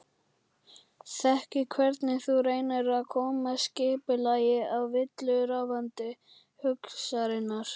Þekki hvernig þú reynir að koma skipulagi á villuráfandi hugsanirnar.